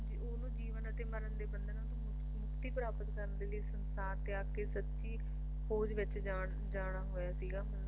ਉਹਨੂੰ ਜੀਵਨ ਤੇ ਮਰਨ ਦੇ ਬੰਧਨਾਂ ਤੋਂ ਮੁਕਤ ਮੁਕਤੀ ਪ੍ਰਾਪਤ ਕਰਨ ਦੇ ਲਈ ਸੰਸਾਰ ਤੇ ਆਕੇ ਸੱਚ ਖੋਜ ਵਿੱਚ ਜਾਣ ਜਾਣਾ ਹੋਇਆ ਸੀਗਾ